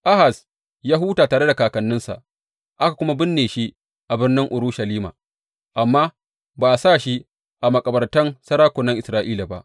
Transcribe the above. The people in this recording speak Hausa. Ahaz ya huta tare da kakanninsa, aka kuma binne shi a birnin Urushalima, amma ba a sa shi a makabartan sarakunan Isra’ila ba.